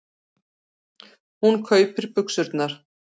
Hún kaupir buxurnar.